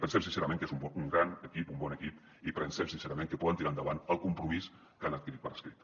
pensem sincerament que és un gran equip un bon equip i pensem sincerament que poden tirar endavant el compromís que han adquirit per escrit